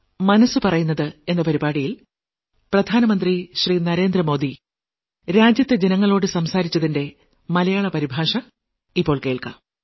മനസ്സു പറയുന്നത് മുപ്പത്തിയാറാം ലക്കം